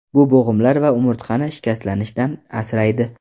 Bu bo‘g‘imlar va umurtqani shikastlanishdan asraydi.